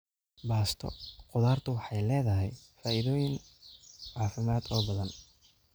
Baasto khudaartu waxay leedahay faa'iidooyin caafimaad oo badan.